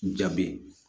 Ja bɛ